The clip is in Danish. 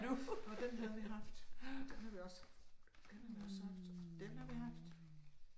Nåh den havde vi haft, og den havde vi også haft, og den havde vi også haft, og den havde vi haft